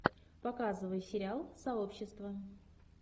показывай сериал сообщество